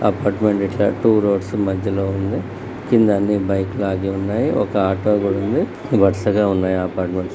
Apartment to roads మధ్యలో ఉంది. కింద అన్ని బైక్లు ఆగె ఉన్నాయి. ఒక ఆటో కూడా ఉంది. వరుసగా ఉన్నాయి అపార్ట్మెంట్స్ .